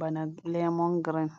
bana lemon girin.